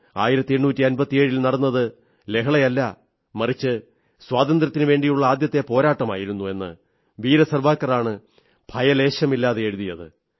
1857 ൽ നടന്നത് ലഹളയല്ല മറിച്ച് സ്വാതന്ത്ര്യത്തിനുവേണ്ടിയുള്ള ആദ്യത്തെ പോരാട്ടമായിരുന്നു എന്ന് വീരസാവർക്കറാണ് ഭയലേശമില്ലാതെ എഴുതിയത്